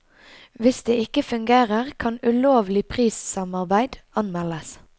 Hvis det ikke fungerer, kan ulovlig prissamarbeid anmeldes.